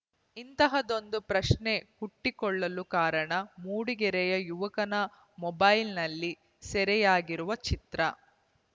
ಇಂಥ್ದದೊಂದು ಪ್ರಶ್ನೆ ಹುಟ್ಟಿಕೊಳ್ಳಲು ಕಾರಣ ಮೂಡಿಗೆರೆಯ ಯುವಕನ ಮೊಬೈಲ್‌ನಲ್ಲಿ ಸೆರೆಯಾಗಿರುವ ಚಿತ್ರ